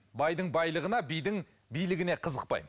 байдың байлығына бидің билігіне қызықпаймын